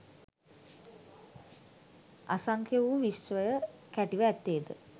අසංඛ්‍ය වූ විශ්වය කැටිව ඇත්තේ ද